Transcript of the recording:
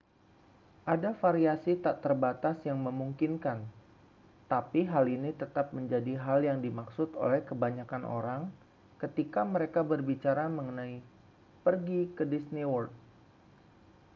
ada variasi tak terbatas yang memungkinkan tapi hal ini tetap menjadi hal yang dimaksud oleh kebanyakan orang ketika mereka berbicara mengenai pergi ke disney world